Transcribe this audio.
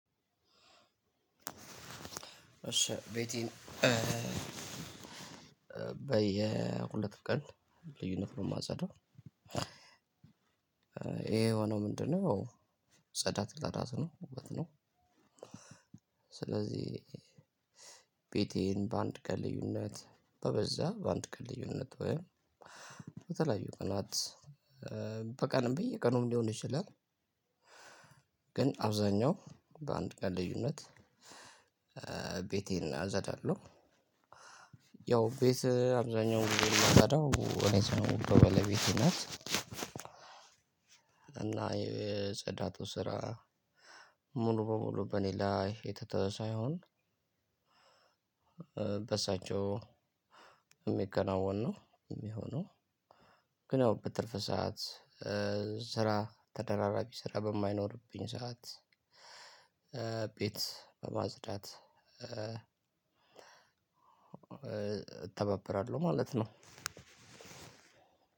እሺ ቤቴን በየሁለት ቀን ልዩነት ነው የማጸዳው። ይሄ የሆኖው ምንድነው? ጸዳት ለራሱ ውበት ነው። ስለዚህ ቤቴን በአንድ ቀን ልዩነት በበዛ በአንድ ቀን ልዩነት ወይም በተለያዩ ቀናት በቀንም በየቀኑም ሊሆን ይችላል። ግን አብዛኛው በአንድ ቀን ልዩነት ቤቴን አጸዳለሁ። ያው ቤት አብዛኛው ጊዜ የማጸዳው እኔ ሳልሆን ባለቤት ናት። እና የጸዳቱ ስራ ሙሉ በሙሉ በኔ ላይ የተተወ ሳይሆን በሳቸው የሚከናወን ነው የሚሆነው። ግን ያው በትርፍ ሰዓት ስራ ተደራራቢ ስራ በማይኖርብኝ ሰዓት ቤት ማጽዳት እተባበራለሁ ማለት ነው።